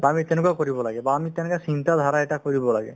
to আমি তেনেকুৱা কৰিব লাগে বা আমি তেনেকে চিন্তাধাৰা এটা কৰিব লাগে